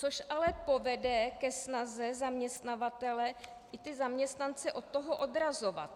Což ale povede i ke snaze zaměstnavatele ty zaměstnance od toho odrazovat.